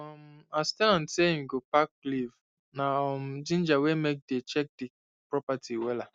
um as ten ant say him go pack leave na um ginger wey make dey check the property wella